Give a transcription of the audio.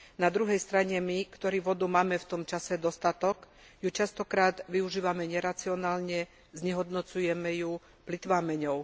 Na druhej strane my, ktorí vody máme v tomto čase dostatok, ju často využívame neracionálne, znehodnocujeme ju, plytváme ňou.